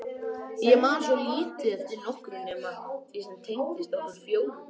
Ég man svo lítið eftir nokkru nema því sem tengdist okkur fjórum.